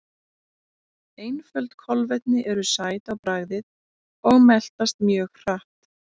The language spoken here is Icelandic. Einföld kolvetni eru sæt á bragðið og meltast mjög hratt.